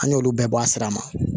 An y'olu bɛɛ bɔ a sira ma